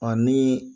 Ɔ ni